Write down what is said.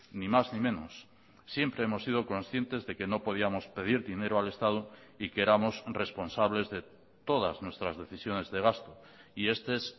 ni más ni menos siempre hemos sido conscientes de que no podíamos pedir dinero al estado y que éramos responsables de todas nuestras decisiones de gasto y este es